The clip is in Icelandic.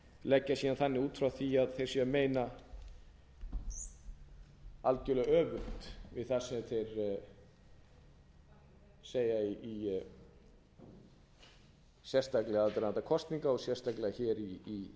leggja síðan þannig út frá því að þeir séu að meina algerlega öfugt við það sem þeir segja sérstaklega í aðdraganda kosninga og sérstaklega í